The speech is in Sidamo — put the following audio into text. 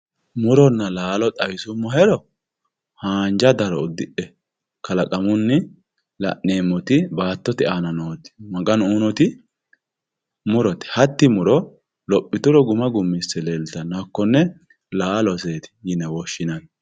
muronna laalo xawisummohero haanja daro uddidhe kalaqamunni la'neemmoti baattote aana nooti maganu uyiinoti murote hatti muro lophituro guma gummisse leeltanno hakkonne laaloseeti yine woshshinanni.